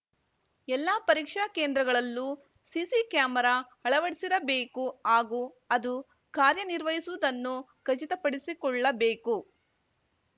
ಎಲ್ಲಾ ಪರೀಕ್ಷಾ ಕೇಂದ್ರಗಳಲ್ಲೂ ಸಿಸಿ ಕ್ಯಾಮೆರಾ ಅಳವಡಿಸಿರಬೇಕು ಹಾಗೂ ಅದು ಕಾರ್ಯ ನಿರ್ವಹಿಸುವುದನ್ನು ಖಚಿತಪಡಿಸಿಕೊಳ್ಳಬೇಕು